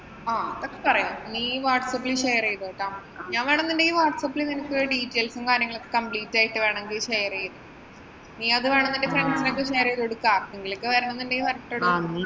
ആഹ് അതൊക്കെ പറയാം. നീ വാട്ട്സ്അപ്പില്‍ share ചെയ്തോട്ടോ. ഞാന്‍ വേണെമെങ്കില്‍ നിനക്ക് details ഉം, കാര്യങ്ങളുമൊക്കെ complete ആയിട്ട് share ചെയ്യാം. നീയത് വേണമെന്നുണ്ടെങ്കില്‍ നിന്‍റെ friends നൊക്കെ share ചെയ്തുകൊടുത്താ വരണമെന്നുണ്ടെങ്കില്‍ വരട്ടടോ.